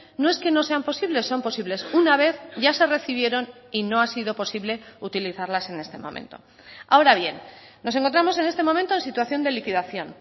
no es que no sean posibles son posibles una vez ya se recibieron y no ha sido posible utilizarlas en este momento ahora bien nos encontramos en este momento en situación de liquidación